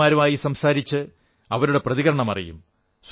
പൌരന്മാരുമായി സംസാരിച്ച് അവരുടെ പ്രതികരണം അറിയും